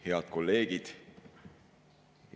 Head kolleegid!